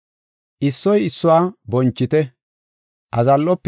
Issoy issuwara ishada siiqetite; issoy issuwa bonchite.